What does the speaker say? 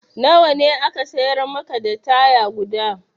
Na wa ne aka siyar maka da taya guda?